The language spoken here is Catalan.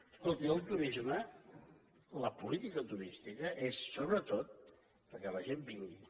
escolti el turisme la política turística és sobretot perquè la gent vingui